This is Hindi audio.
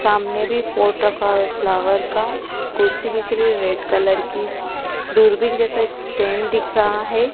सामने भी पॉट रखा है फ्लावर का कुर्सी दिख रही है रेड कलर की दूरबीन जैसा स्टैंड दिख रहा है।